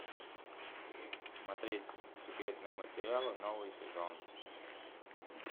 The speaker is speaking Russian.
смотреть секретные материалы новый сезон